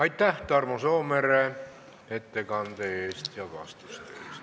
Aitäh, Tarmo Soomere, ettekande ja vastuste eest!